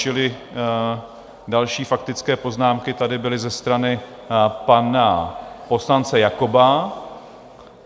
Čili další faktické poznámky tady byly ze strany pana poslance Jakoba.